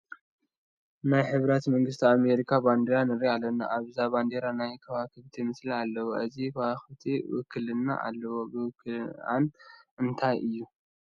ናይ ሕቡራት መንግስታት ኣሜሪካ ባንዲራ ንርኢ ኣለና፡፡ ኣብዛ ባንዲራ ናይ ከዋክብቲ ምስሊ ኣለዋ፡፡ እዚን ከዋኽብቲ ውክልና ኣለወን፡፡ ውክልንአን እንታይ እዩ?